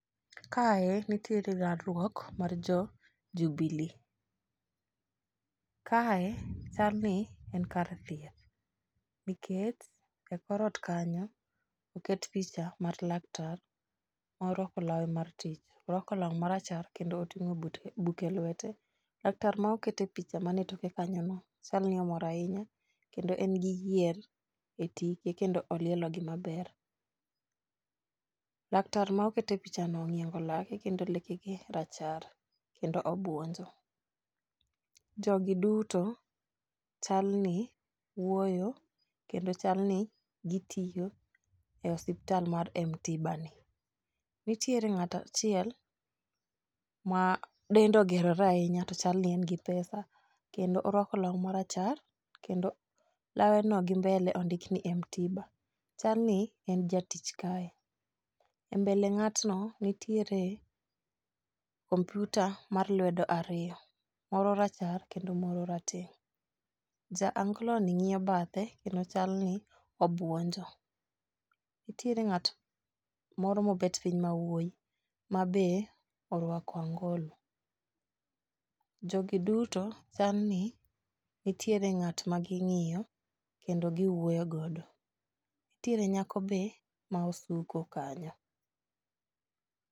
Kae nitiere galruok mar jo jubilee. Kae chal ni en kar thieth nikech e korot kanyo oket picha mar laktar moro morwako lawe mar tich orwako lar marache kendo oting'o buk e lwete. Laktar ma okete picha mae toke kanyo no chal ni omor ahinya ekndo en gi yier e tike kendo olielo gi maber. Latar ma okete picha no ong'iengo lake kendo lekene racher kendo obuonjo. Jogi duto chal ni wuoyo kendo chal ni gitiyo e osiptal mar mtiba ni. Nitiere ng'ata chiel ma dende ogerore ahinya to chal ni en gi pesa kendo orwako law marachar kendo lawe no gimbele ondik ni mtiba chal ni en jatich kae e mbele ng'atno nitiere komputa mar lwedo ariyo moro marachar kendo moro mareteng'. Jangolo ni ng'iyo bathe kendo chal ni obuonjo. Nitiere ng'at moro mobet piny mawuoyi mabe orwako angolo. Jogi duto chal ni nitiere ng'at ma ging'iyo kendo giwuoyo godo nitiere nyako be ma osuko kanyo.